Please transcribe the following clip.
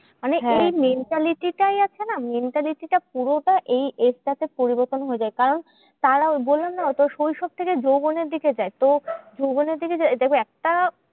মানে এই mentality টাই আছে না mentality টা পুরোটা এই age টা তে পরিবর্তন হয়ে যায়। কারণ তারাও বললাম না শৈশব থেকে যৌবনের দিকে যায়। তো যৌবনের দিকে দেখো একটা